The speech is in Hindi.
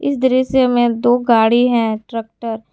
इस दृश्य में दो गाड़ी है ट्रैक्टर ।